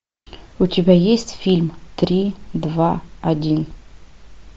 у тебя есть фильм три два один